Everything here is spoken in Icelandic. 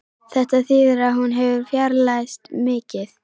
Þetta þýðir að hún hefur fjarlægst mikið